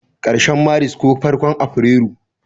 karshen Maris ko farkon afirairu.